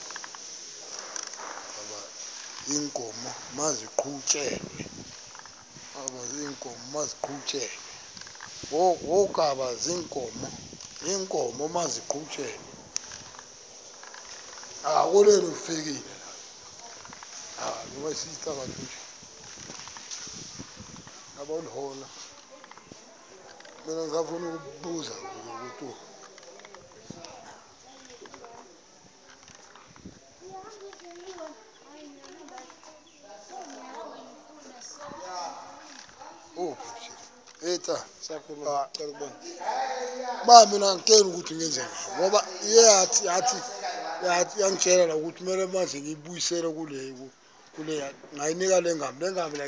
wokaba iinkomo maziqhutyelwe